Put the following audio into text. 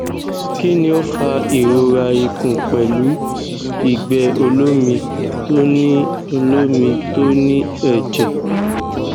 kini o fa irora ikun pelu igbe olomi to ni olomi to ni eje